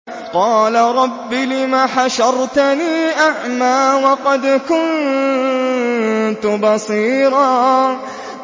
قَالَ رَبِّ لِمَ حَشَرْتَنِي أَعْمَىٰ وَقَدْ كُنتُ بَصِيرًا